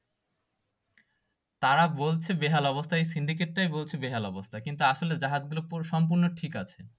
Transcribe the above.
তারা বলছে বেহাল অবস্থা ওই সিন্ডিকেট তাই বলছে বেহাল অবস্থা কিন্তু আসলে জাহাজগুলা সম্পূর্ণ ঠিক আছে